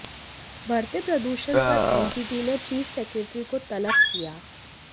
बढ़ते प्रदूषण पर एनजीटी ने चीफ़ सेक्रेटरी को तलब किया